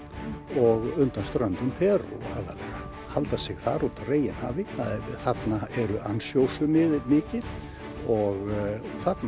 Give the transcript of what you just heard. og undan ströndum Perú og halda sig þar úti á reginhafi þarna eru mikil og